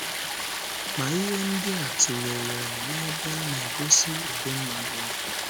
Ma, ihe ndị a tụlere n’ebe a na - egosi ụdị mmadụ ọ bụ.